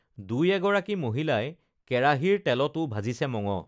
দুই এগৰাকী মহিলাই কেৰাহীৰ তেলটো ভাজিছে মঙহ